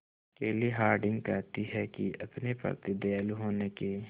केली हॉर्डिंग कहती हैं कि अपने प्रति दयालु होने के